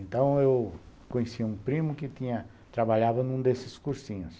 Então, eu conheci um primo que tinha trabalhava num desses cursinhos.